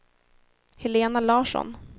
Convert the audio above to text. Helena Larsson